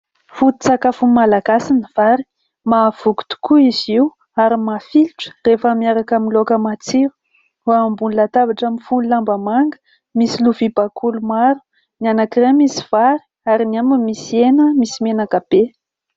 Fototsakafon'ny malagasy ny vary, mahavoky tokoa izy io ary mafilotra rehefa miaraka amin'ny laoka matsiro. Eo ambony latabatra mifono lamba manga, misy lovia bakoly maro : ny anankiray misy vary, ary ny iray misy hena misy menaka be.